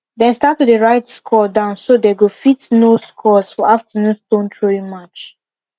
dem start to dey write score down so dey go fit know scores for afternoon stone throwing match